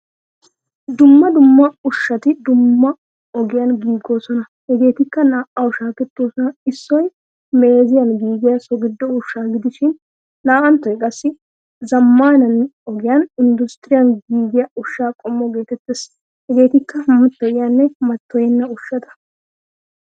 Dumma dumma ushshati dumma ogiyan giigoosona. Hegettikka naa'awu shaakettoosona. Issoy meeziyan giigiyaa so giddo ushshaa gidishin naa'anttoy qassi zammaana ogiyan industuriyan giigiyaa ushshaa qommo getettees. Hageettika mattoyiyanne mattoyenna ushshata.